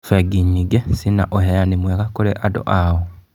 Bengi nyingĩ cina ũheani mwega kũrĩ andũ ao.